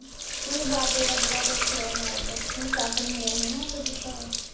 ਮੈਨੂੰ ਬਾਦਲ ਦਾ ਬੜਾ ਦੁਖ ਹੋਇਆ ਮਰਨ ਦਾ, ਮੈਨੂੰ ਸਾਈਕਲ ਮਿਲਿਆ ਸੀ ਨਾ ਉਹਦਾ ਦਿੱਤਾ ਹੋਇਆ